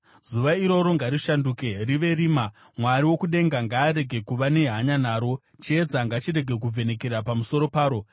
Zuva iroro ngarishanduke rive rima; Mwari wokudenga ngaarege kuva nehanya naro; Chiedza ngachirege kuvhenekera pamusoro paro.